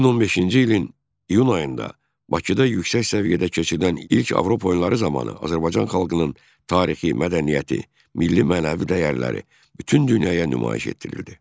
2015-ci ilin iyun ayında Bakıda yüksək səviyyədə keçirilən ilk Avropa oyunları zamanı Azərbaycan xalqının tarixi, mədəniyyəti, milli-mənəvi dəyərləri bütün dünyaya nümayiş etdirildi.